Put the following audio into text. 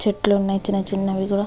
చెట్లు ఉన్నాయి చిన్న చిన్నవి కూడా --